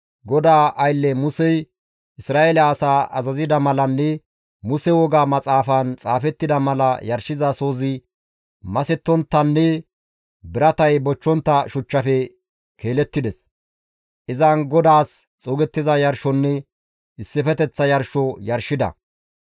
GODAA aylle Musey Isra7eele asaa azazida malanne Muse Woga Maxaafaan xaafettida mala yarshizasohozi masettonttanne biratay bochchontta shuchchafe keelettides. Izan GODAAS xuugettiza yarshonne issifeteththa yarsho yarshida.